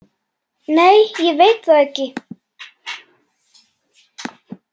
Nei ég veit það ekki.